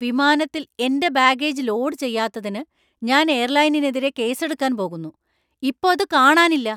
വിമാനത്തിൽ എന്‍റെ baggage load ചെയ്യാത്തതിന് ഞാൻ എയർലൈനിനെതിരെ കേസെടുക്കാൻ പോകുന്നു, ഇപ്പോ അത് കാണാനില്ല.